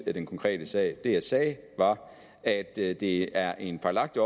i den konkrete sag det jeg sagde var at det det er en fejlagtig